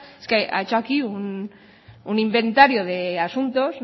es que ha hecho aquí un inventario de asuntos